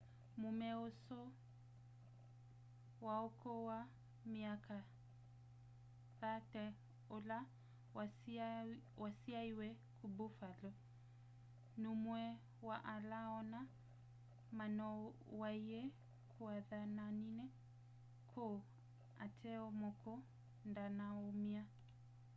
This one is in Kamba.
muume usu wa ukuu wa myaka 30 ula wasyaiwe ku buffalo numwe wa ala ana manoowaiwe kuathanani kuu ateo muka ndanaaumia